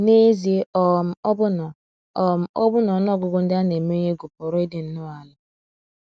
N’ezie, um ọbụna, um ọbụna ọnụ ọgụgụ ndị a na - emenye egwu pụrụ ịdị nnọọ ala.